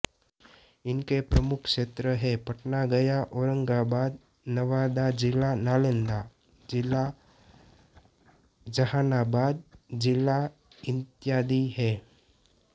इसके प्रमुख क्षेत्र है पटना गया औरंगाबाद नवादा जिला नालंदा जिला जहानाबाद जिला इत्यादि है